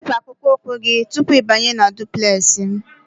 Wepu akpụkpọ ụkwụ gị tupu ịbanye na duplex m!